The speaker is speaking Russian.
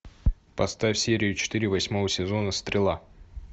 поставь серию четыре восьмого сезона стрела